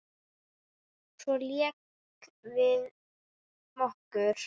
Svo lékum við okkur.